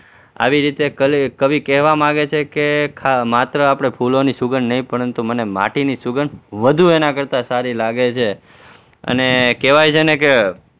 આવી રીતે કવિ કહેવા માંગે છે કે માત્ર આપણે ફૂલોની સુગંધ નહીં પરંતુ મને માટીની સુગંધ વધુ એના કરતા સારી લાગે છે અને કહેવાય છે ને કે